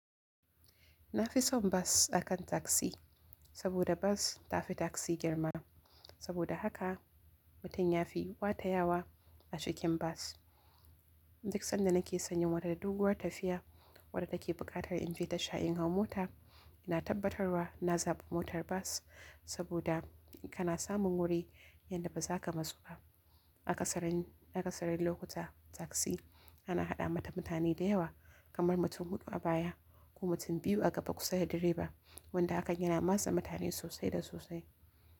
Na fi son bas akan taksi saboda bas ta fi taksi girma. Saboda haka mutum ya fi watayawa a cikin bas. Duk sanda na ke san yin wata doguwar tafiya wadda take buƙatar in fita sha'in hau mota, ina tabbatarwa na zaɓa motar bas, saboda kana samun wuri yadda ba za ka matsu ba. A ƙasarin a ƙasarin lokuta taksi ana haɗa mata mutane da yawa, kamar mutum huɗu a baya ko mutum biyu a gaba kusa da direba wanda hakan yana matse mutane sosai da sosai.